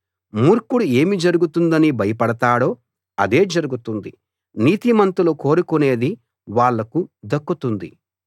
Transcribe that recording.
మూర్ఖుడు ఏమి జరుగుతుందని భయపడతాడో అదే జరుగుతుంది నీతిమంతులు కోరుకునేది వాళ్లకు దక్కుతుంది